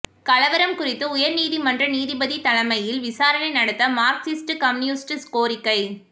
கலவரம் குறித்து உயர்நீதிமன்ற நீதிபதி தலைமையில் விசாரணை நடத்த மார்க்சிஸ்ட் கம்யூனிஸ்ட் கோரிக்கை